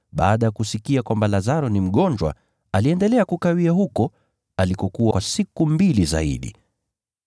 baada ya kusikia kwamba Lazaro ni mgonjwa, aliendelea kukawia huko alikokuwa kwa siku mbili zaidi.